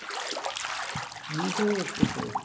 নিচে আসছে তো।